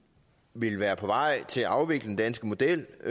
ville være på vej til at afvikle den danske model